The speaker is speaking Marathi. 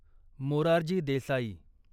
मोरारजी देसाई